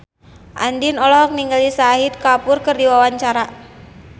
Andien olohok ningali Shahid Kapoor keur diwawancara